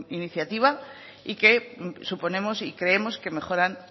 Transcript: iniciativa y que suponemos y creemos que mejoran